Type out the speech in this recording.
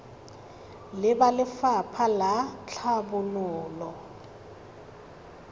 le ba lefapha la tlhabololo